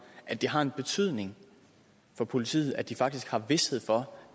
at det har en betydning for politiet at de faktisk har vished for